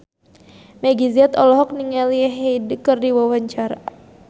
Meggie Z olohok ningali Hyde keur diwawancara